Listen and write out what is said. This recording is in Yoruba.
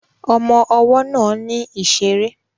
Ọmọ ọwọ́ náà ní ìṣeré